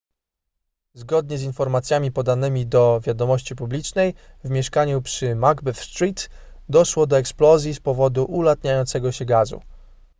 zgodnie z informacjami podanymi do wiadomości publicznej w mieszkaniu przy macbeth street doszło do eksplozji z powodu ulatniającego się gazu